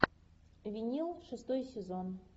винил шестой сезон